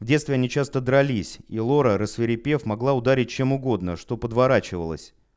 в детстве они часто дрались и лора рассвирепев могла ударить чем угодно что подворачивалась